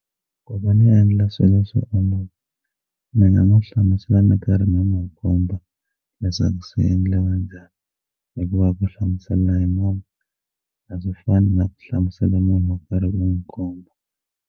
Ku va ni endla swilo swi olova ndzi nga n'wi hlamusela ni karhi ni n'wi komba leswaku swi endliwa njhani hikuva ku hlamusela hi munhu a swi fani na ku hlamusela munhu wo karhi u n'wi .